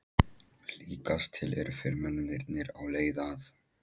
Líkast til eru fyrirmennirnir á leið að